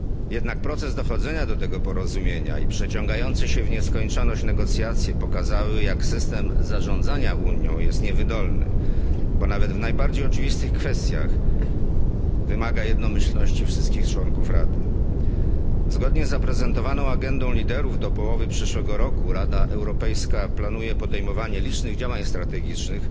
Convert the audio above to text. Jednak proces dochodzenia do tego porozumienia i przeciągające się w nieskończoność negocjacje pokazały, jak system zarządzania Unią jest niewydolny, bo nawet w najbardziej oczywistych kwestiach wymaga jednomyślności wszystkich członków Rady. Zgodnie z zaprezentowaną agendą liderów do połowy przyszłego roku Rada Europejska planuje podejmowanie licznych działań strategicznych